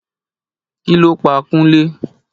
Kí ló pa Kunle?